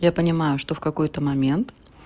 я понимаю что в какой-то момент